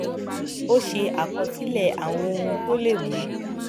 a ṣe àkọsílè àwọn ohun tó lè mú